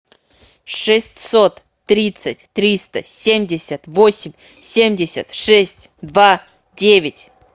шестьсот тридцать триста семьдесят восемь семьдесят шесть два девять